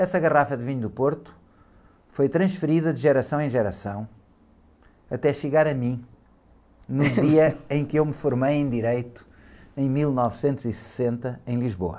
Essa garrafa de vinho do Porto foi transferida de geração em geração até chegar a mim, no dia em que eu me formei em direito, em mil novecentos e sessenta, em Lisboa.